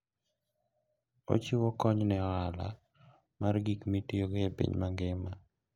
Ochiwo kony ne ohala mar gik mitiyogo e piny mangima.